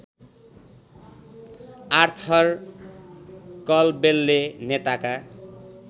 Arthur कलवेलले नेताका